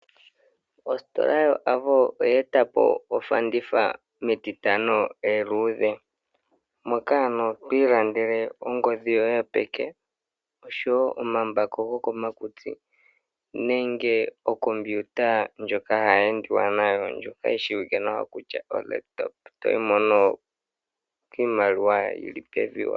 Ostola yoAvo oyeetapo ofanditha metitano eluudhe. Moka ano twii landele ongodhi yoye yopeke oshowo omambako gokomakutsi nenge okompiuta ndjoka hayi endiwa nayo ndjoka yishiwike nawa kutya laptop, toyi mono kiimaliwa yili pevi.